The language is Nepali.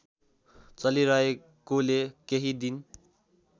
चलिरहेकोले केही दिन